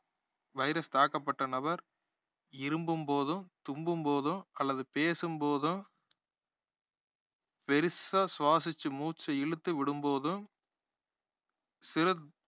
virus தாக்கப்பட்ட நபர் இருமும் போதோ, தும்பும் போதோ அல்லது பேசும் போதோ பெருசா சுவாசிச்சு மூச்ச இழுத்து விடும் போதோ சிறு~